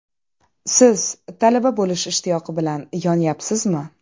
Siz talaba bo‘lish ishtiyoqi bilan yonyapsizmi?